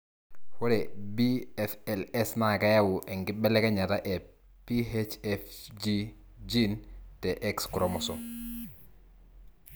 ore BFLS na keyau enkibelekenyata e PHFG gene te Xchromosome.